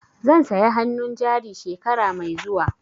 Zan saya hannun jari shekara mai zuwa.